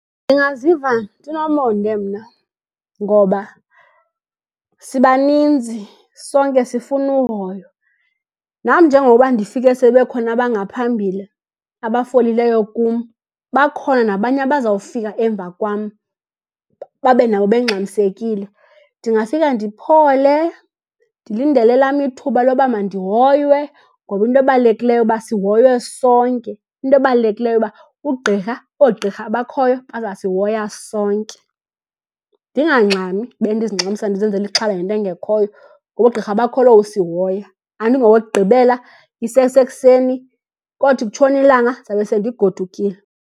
Ndingaziva ndinomonde mna, ngoba sibaninzi sonke sifuna uhoywa. Nam njengokuba ndifike sebekhona abangaphambile abafolileyo kum, bakhona nabanye abazawufika emva kwam babe nabo bengxamisekile. Ndingafika ndiphole, ndilindele elam ithuba loba mandihoywe ngoba into ebalulekileyo uba sihoywe sonke. Into ebalulekileyo uba ugqirha, oogqirha abakhoyo bazasihoya sonke. Ndingangxami, bendizingxamisa ndizenzela ixhala ngento engekhoyo, ngoba oogqirha bakholo usihoya. Andingowokugqibela, isesekuseni kothi kutshona ilanga ndizawube sendigodukile.